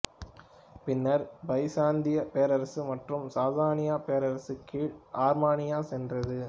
பின்னர் பைசாந்தியப் பேரரசு மற்றும் சாசானியப் பேரரசு கீழ் ஆர்மீனியா சென்றது